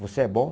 Você é bom?